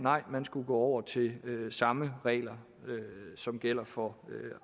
man skulle gå over til samme regler som gælder for